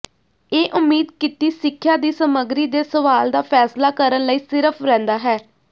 ਇਹ ਉਮੀਦ ਕੀਤੀ ਸਿੱਖਿਆ ਦੀ ਸਮੱਗਰੀ ਦੇ ਸਵਾਲ ਦਾ ਫੈਸਲਾ ਕਰਨ ਲਈ ਸਿਰਫ ਰਹਿੰਦਾ ਹੈ